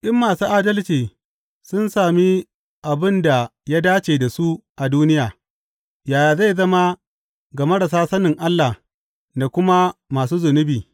In masu adalci sun sami abin da ya dace da su a duniya, yaya zai zama ga marasa sanin Allah da kuma masu zunubi!